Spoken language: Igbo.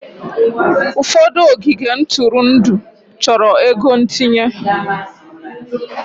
Ụfọdụ ogige ntụrụndụ chọrọ ego ntinye.